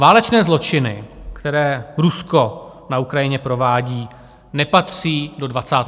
Válečné zločiny, které Rusko na Ukrajině provádí, nepatří do 21. století.